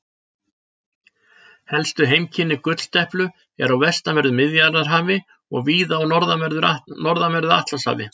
Helstu heimkynni gulldeplu eru á vestanverðu Miðjarðarhafi og víða á norðanverðu Atlantshafi.